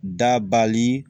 Dabali